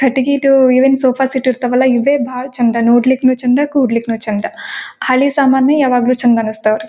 ಕಟ್ಟಿಗೆದು even sofa seat ಇರ್ತಾವಲ್ಲ ಇವೆ ಬಹಳ ಚೆಂದ ನೋಡ್ಲಿಕ್ಕೂ ಚೆಂದ ಕೂಡ್ಲಿಕ್ಕೂ ಚೆಂದ ಹಳ್ಳಿ ಸಾಮಾನೆ ಯಾವಾಗ್ಲೂ ಚೆಂದ ಅನ್ಸತ್ ಅವ್ರಿಗೆ.